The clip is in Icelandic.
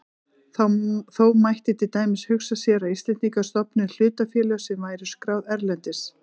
Þó mætti til dæmis hugsa sér að Íslendingar stofnuðu hlutafélag sem væri skráð erlendis.